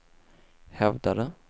hävdade